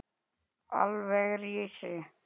Álverið rísi!